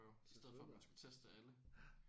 Selvfølgelig ja